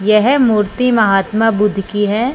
यह मूर्ति महात्मा बुद्ध की है।